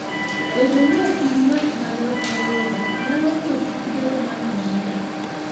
Bedo ni ok in ng'at ma yot wuoyogo, nyalo miyo kik ibed ng'at mamor.